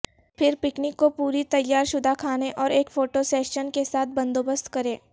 پھر پکنک کو پری تیار شدہ کھانے اور ایک فوٹو سیشن کے ساتھ بندوبست کریں